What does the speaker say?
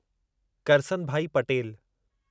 Karsanbhai Patel